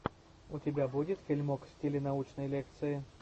у тебя будет фильмок в стиле научной лекции